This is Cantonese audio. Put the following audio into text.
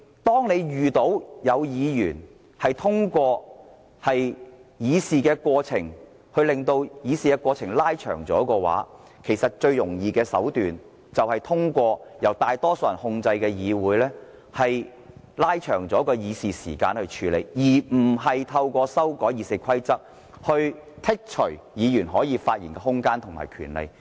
當有議員在議會透過一些程序延長議事過程時，其實最容易處理這情況的手段，就是通過由建制派控制的議會延長議事時間，而不是透過修訂《議事規則》來削減議員發言的空間和權利。